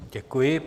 Děkuji.